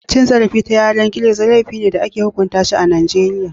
Cin zarafi ta yanar gizo laifi ne da ake hukunta shi a Najeriya